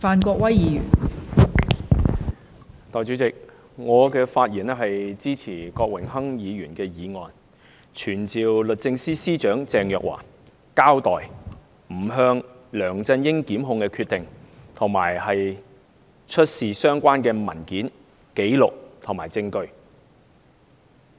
代理主席，我發言支持郭榮鏗議員的議案，傳召律政司司長鄭若驊交代不檢控梁振英的決定，並出示相關文件、紀錄和證據。